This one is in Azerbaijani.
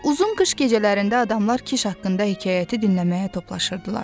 Uzun qış gecələrində adamlar Kiş haqqında hekayəti dinləməyə toplaşırdılar.